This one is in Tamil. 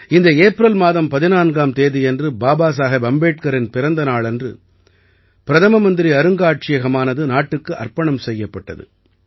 இந்த ஏப்ரல் மாதம் 14ஆம் தேதியன்று பாபா சாஹேப் அம்பேட்கரின் பிறந்த நாளன்று பிரதம மந்திரி அருங்காட்சியகமானது நாட்டுக்கு அர்ப்பணம் செய்யப்பட்டது